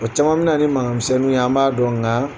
O caman min na ni makanmisɛnninw ye an b'a dɔn nka